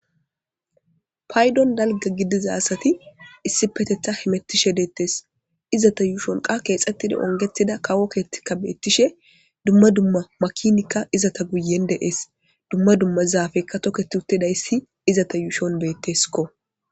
paydon dalga gidiza asati issi petetha himettishe deettees izata yuushon qa keexxettida ongetida kawokeetikka beettishe dumma dumma makinikka izata guyen deees dumma dumma zaafekka toketi uttedayssi iza ta yuushon betteskko